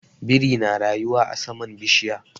Biri na rayuwa a saman bishiya.